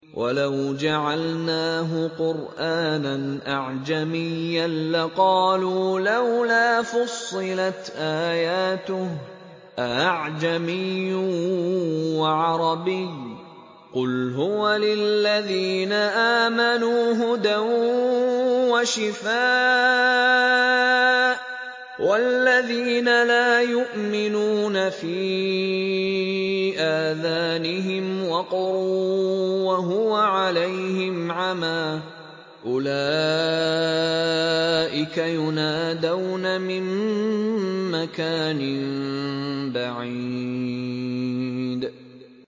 وَلَوْ جَعَلْنَاهُ قُرْآنًا أَعْجَمِيًّا لَّقَالُوا لَوْلَا فُصِّلَتْ آيَاتُهُ ۖ أَأَعْجَمِيٌّ وَعَرَبِيٌّ ۗ قُلْ هُوَ لِلَّذِينَ آمَنُوا هُدًى وَشِفَاءٌ ۖ وَالَّذِينَ لَا يُؤْمِنُونَ فِي آذَانِهِمْ وَقْرٌ وَهُوَ عَلَيْهِمْ عَمًى ۚ أُولَٰئِكَ يُنَادَوْنَ مِن مَّكَانٍ بَعِيدٍ